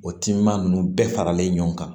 O timinan ninnu bɛɛ faralen ɲɔgɔn kan